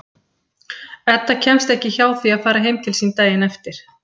Edda kemst ekki hjá því að fara heim til sín daginn eftir.